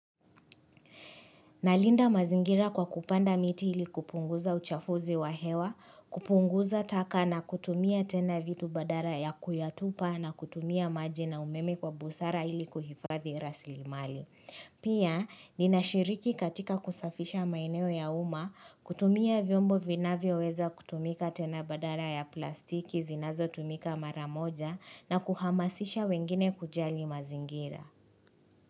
Na linda mazingira kwa kupanda miti ili kupunguza uchafuzi wa hewa, kupunguza taka na kutumia tena vitu badala ya kuyatupa na kutumia maji na umeme kwa busara ili kuhifadhi rasilimali. Pia, ninashiriki katika kusafisha maeneo ya uma, kutumia vyombo vinavyo weza kutumika tena badala ya plastiki zinazo tumika maramoja na kuhamasisha wengine kujali mazingira.